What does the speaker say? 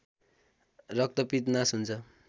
रक्तपित्त नास हुन्छ